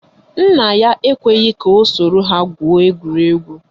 Nna ya ekweghi ya soro gwuo egwuregwu